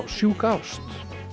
sjúka ást